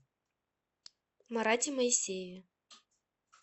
марате моисееве